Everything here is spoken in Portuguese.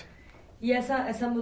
E essa, essa